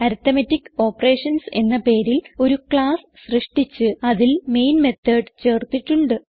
arithmetic operations എന്ന പേരിൽ ഒരു ക്ളാസ് സൃഷ്ടിച്ച് അതിൽ മെയിൻ മെത്തോട് ചേർത്തിട്ടുണ്ട്